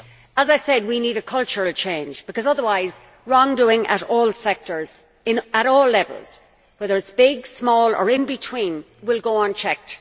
As I said, we need a cultural change because otherwise wrongdoing in all sectors, at all levels, whether it is big, small or in between, will go unchecked.